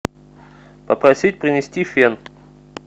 попросить принести фен